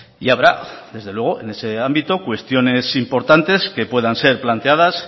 y habrá desde luego en ese ámbito cuestiones importantes que puedan ser planteadas